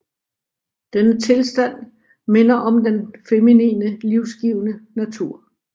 Denne tilstand minder om den feminine livsgivende natur